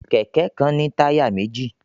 Kẹ̀kẹ́ kan ní táyà méjì